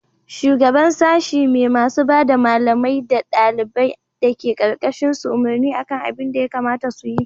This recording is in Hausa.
shugaban sashi me masu bada malamai da daliban dake karkashin su umarni akan abin da ya kamata su yi